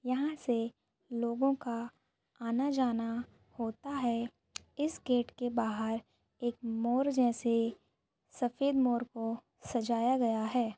यहाँ से लोगों का आना-जाना होता है इस गेट के बाहर एक मोर जैसे सफ़ेद मोर को सजाया गया है।